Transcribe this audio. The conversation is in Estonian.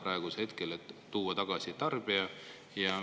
Tarbija tuleb tagasi tuua.